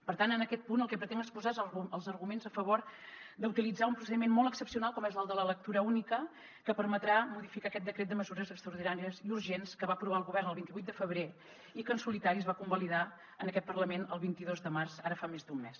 per tant en aquest punt el que pretenc exposar són els arguments a favor d’utilitzar un procediment molt excepcional com és el de la lectura única que permetrà modificar aquest decret de mesures extraordinàries i urgents que va aprovar el govern el vint vuit de febrer i que en solitari es va convalidar en aquest parlament el vint dos de març ara fa més d’un mes